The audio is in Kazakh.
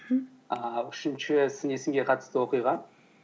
мхм ааа үшінші сын есімге қатысты оқиға